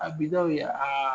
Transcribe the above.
A ye aa